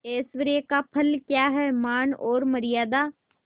ऐश्वर्य का फल क्या हैमान और मर्यादा